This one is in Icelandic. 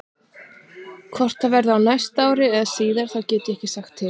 Hvort það verði á næsta ári eða síðar get ég ekki sagt til um.